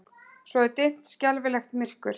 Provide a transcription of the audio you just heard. Svo er dimmt, skelfilegt myrkur.